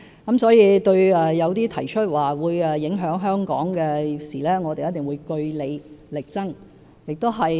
因此，對於一些據報會影響香港的事，我們一定會據理力爭。